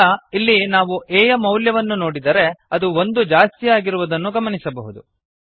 ಈಗ ಇಲ್ಲಿ ನಾವು a ಯ ಮೌಲ್ಯವನ್ನು ನೋಡಿದರೆ ಅದು ಒಂದು ಜಾಸ್ತಿಯಾಗಿರುವುದನ್ನು ಗಮನಿಸಬಹುದು